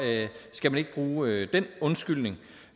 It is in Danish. skal man ikke bruge den undskyldning